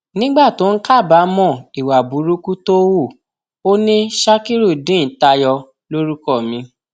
nígbà tó ń kábàámọ ìwà burúkú tó hù ọ ni shakirudeen tayọ lorúkọ mi